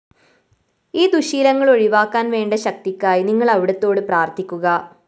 ഈ ദുശ്ശീലങ്ങള്‍ ഒഴിവാക്കാന്‍ വേണ്ട ശക്തിക്കായി നിങ്ങള്‍ അവിടുത്തോടു പ്രാര്‍ത്ഥിക്കുക